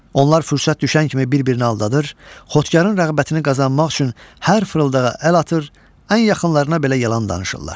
Onlar fürsət düşən kimi bir-birini aldadır, xotkarın rəğbətini qazanmaq üçün hər fırıldağa əl atır, ən yaxınlarına belə yalan danışırlar.